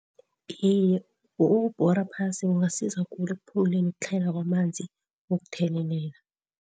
Iye ukubhora phasi kungasiza khulu ekuphunguleni ukutlhayela kwamanzi wokuthelelela.